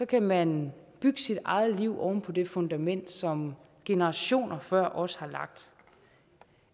kan man bygge sit eget liv oven på det fundament som generationer før os har lagt